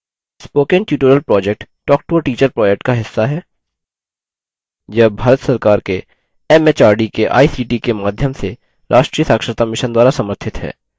spoken tutorial project talktoateacher project का हिस्सा है यह भारत सरकार के एमएचआरडी के आईसीटी के माध्यम से राष्ट्रीय साक्षरता mission द्वारा समर्थित है